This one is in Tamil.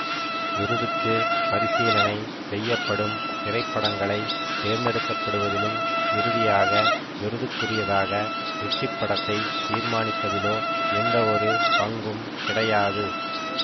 விருதுக்கு பரிசீலனை செய்யப்படும் திரைப்படங்களை தேர்ந்தெடுக்கப்படுவதிலும் இறுதியாக விருதுக்குரியதாக வெற்றிப்படத்தை தீர்மானிப்பதிலோ எந்தவொரு பங்கும் கிடையாது